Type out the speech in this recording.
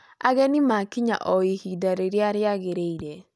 Ageni maakinya o ihinda rĩrĩa rĩagĩrĩire